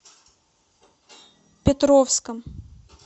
петровском